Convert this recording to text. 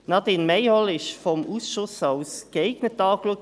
Frau Nadine Mayhall wurde vom Ausschuss als «geeignet» angeschaut.